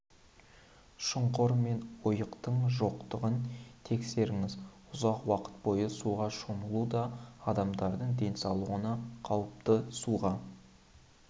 шұңқыр мен ойықтың жоқтығын тексеріңіз ұзақ уақыт бойы суға шомылу да адамдардың денсаулығына қауіпті суға